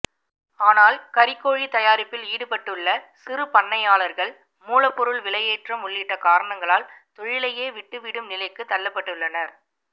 ஆனால் கறிக்கோழி தயாரிப்பில் ஈடுபட்டுள்ள சிறு பண்ணையாளர்கள் மூலப்பொருள் விலையேற்றம் உள்ளிட்ட காரணங்களால் தொழிலையே விட்டுவிடும் நிலைக்கு தள்ளப்பட்டுள்ளனர்